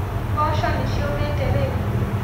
Mboco nĩciũmĩte rĩu